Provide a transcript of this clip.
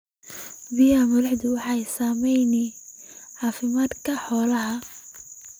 Biyaha milixdu waxay saameeyaan caafimaadka xoolaha.